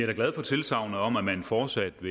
fortsat